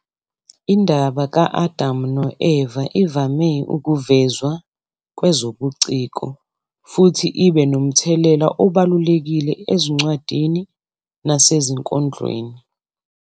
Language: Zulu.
Indaba ka-Adam no-Eva ivame ukuvezwa kwezobuciko, futhi ibe nomthelela obalulekile ezincwadini nasezinkondlweni.